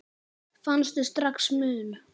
Fannstu strax mun?